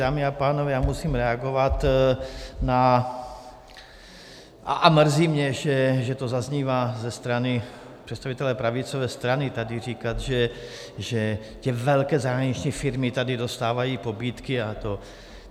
Dámy a pánové, já musím reagovat na ... a mrzí mě, že to zaznívá ze strany představitele pravicové strany, tady říkat, že ty velké zahraniční firmy tady dostávají nabídky a to.